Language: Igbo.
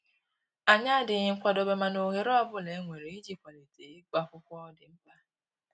Anyi adịghị nkwadobe mana ohere ọbụla e nwere ịji kwalite ịgụ akwụkwọ dị mkpa